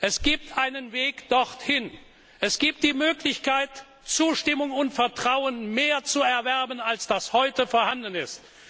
Es gibt einen Weg dorthin. Es gibt die Möglichkeit, mehr Zustimmung und Vertrauen zu erwerben, als heute vorhanden